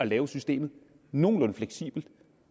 laver systemet nogenlunde fleksibelt